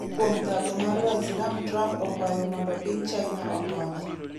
kuom thago mar waislam Trump okwayo mondo piny China okonye